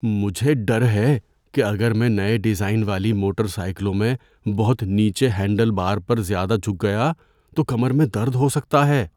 مجھے ڈر ہے کہ اگر میں نئے ڈیزائن والی موٹر سائیکلوں میں بہت نیچے ہینڈل بار پر زیادہ جھک گیا تو کمر میں درد ہو سکتا ہے۔